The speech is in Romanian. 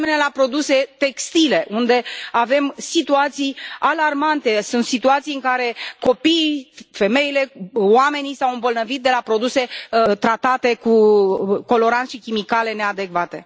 De asemenea, la produse textile, unde avem situații alarmante, sunt situații în care copiii, femeile, oamenii s au îmbolnăvit de la produse tratate cu coloranți și chimicale neadecvate.